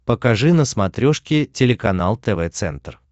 покажи на смотрешке телеканал тв центр